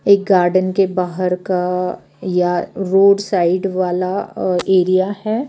एक गार्डन के बाहर का या रोड साइड वाला अ एरिया है।